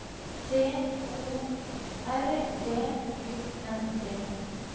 T O R V U N D